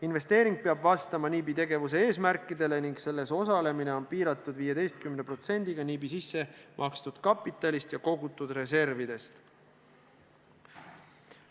Investeering peab vastama NIB-i tegevuse eesmärkidele ning selles osalemine on piiratud 15%-ga NIB-i sisse makstud kapitalist ja kogutud reservidest.